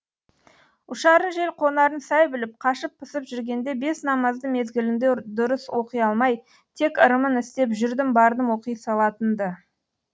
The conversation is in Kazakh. ұшарын жел қонарын сай біліп қашып пысып жүргенде бес намазды мезгілінде дұрыс оқи алмай тек ырымын істеп жүрдім бардым оқи салатын ды